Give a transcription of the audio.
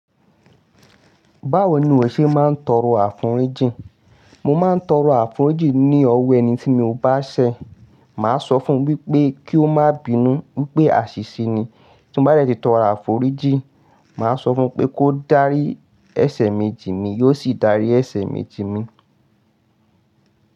Báwo ni o ṣe máa ń tọrọ àforíjì? Mo máa ń tọrọ àforíjì ní ọ̀wọ̀ ẹni tí mo bá ṣẹ̀. Máa sọ fún wípé kí ó má bínú wípé àṣìṣe ni. Tí n bá dẹ̀ ti tọrọ àforíjì, màá sọ fún pé kó dárí ẹsẹ̀ mi jin mi, yóò sì dárí ẹsẹ̀ mì jin mi.